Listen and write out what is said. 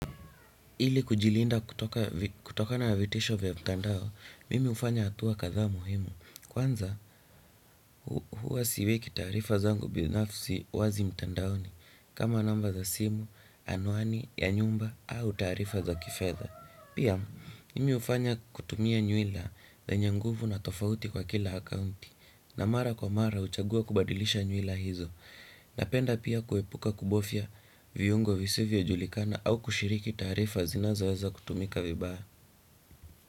Ili kujilinda kutokana na vitisho vya mtandao, mimi hufanya hatua kadhaa muhimu. Kwanza, huwa siweki taarifa zangu binafsi wazi mtandaoni, kama namba za simu, anwani, ya nyumba, au taarifa za kifedha. Pia, mimi hufanya kutumia nywila zenye nguvu na tofauti kwa kila akaunti, na mara kwa mara huchagua kubadilisha nywila hizo. Napenda pia kuepuka kubofya viungo visivojulikana au kushiriki taarifa zinazoweza kutumika vibaya.